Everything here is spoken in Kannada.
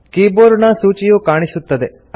ಕೀಬೋರ್ಡ ನ ಸೂಚಿಯು ಕಾಣಿಸುತ್ತದೆ